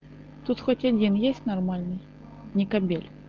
тут хоть один есть нормальный не кобель